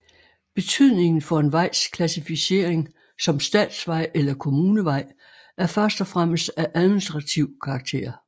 Betydningen for en vejs klassificering som statsvej eller kommunevej er først og fremmest af administrativ karakter